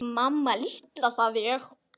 Hvað vorum við komin langt?